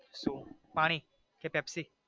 પાણી કે પેપ્સી